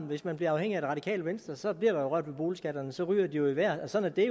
hvis man bliver afhængig af det radikale venstre bliver der jo rørt ved boligskatterne så ryger de jo i vejret sådan er